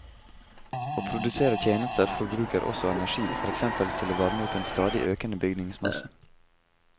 Å produsere tjenester forbruker også energi, for eksempel til å varme opp en stadig økende bygningsmasse.